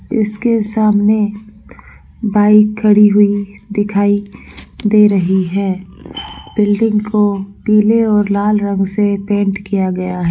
इसके सामने बाइक खड़ी हुई दिखाई दे रही है बिल्डिंग को पीले और लाल रंग से पेंट किया गया है।